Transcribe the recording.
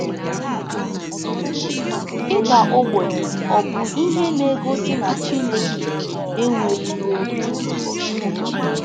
Ịda Ogbenye Ọ Bụ Ihe Na-egosi na Chineke Ekweghị n’Obi?